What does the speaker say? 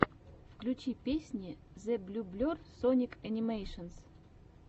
включи песни зэблюблер соник анимэйшенс